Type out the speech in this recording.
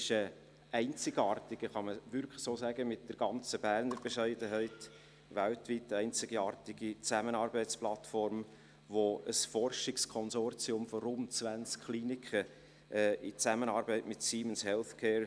Es handelt sich, um es mit bernischer Bescheidenheit auszudrücken, um eine weltweit einzigartige Zusammenarbeitsplattform, welche als Forschungskonsortium von rund zwanzig Kliniken mit Siemens Healthcare